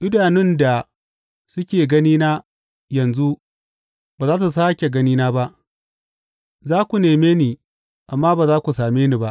Idanun da suke ganina yanzu ba za su sāke ganina ba; za ku neme ni amma ba za ku same ni ba.